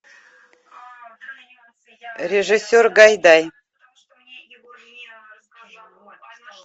режиссер гайдай